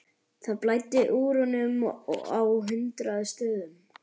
Það blæddi úr honum á hundrað stöðum.